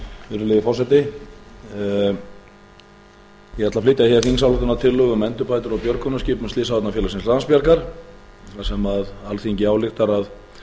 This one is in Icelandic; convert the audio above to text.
virðulegi forseti ég ætla að flytja þingsályktunartillögu um endurbætur á björgunarskipum slysavarnafélagsins landsbjargar þar sem alþingi ályktar að fela